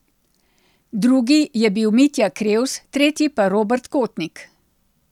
Drugi je bil Mitja Krevs, tretji pa Robert Kotnik.